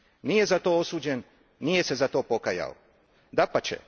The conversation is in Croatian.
Nije za to osuđen, nije se za to pokajao, dapače.